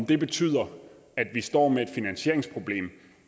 kan betyde at vi står med et finansieringsproblem